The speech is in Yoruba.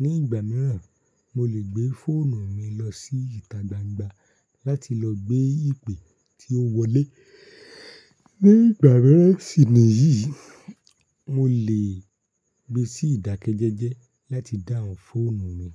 Ní ìgbà míràn, mo lè gbé fóònù mi lọ sí ìta gbangba láti lọ gbé ìpè tí ó wọlé. Ní ìgbà míràn sì ni yìí, mo lè gbé sí ìdákẹ́jẹ́jẹ́ láti dáhùn fóònù mi.